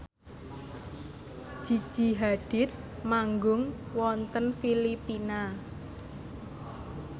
Gigi Hadid manggung wonten Filipina